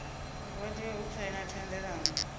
vha tea u saina thendelano